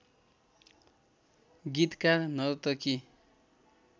गीतकार नर्तकी